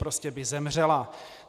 Prostě by zemřela.